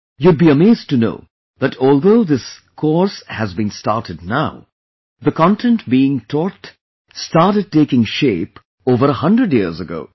You would be amazed to know that although this this course has been started now, the content being taught started taking shape over a 100 years ago